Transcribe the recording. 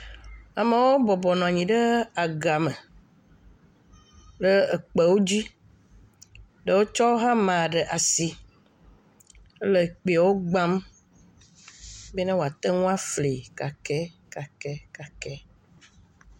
Amewo bɔbɔ nɔ anyi ɖe agame ɖe kpewo dzi. Ɖewo kɔ hama ɖe asi le kpeawo gbam be woate ŋu afli kakɛkakɛkakɛ.